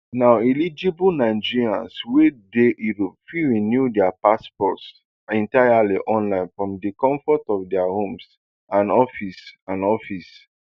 now eligible nigerians wey dey europe fit renew dia passports entirely online from di comfort of dia homes and offices and offices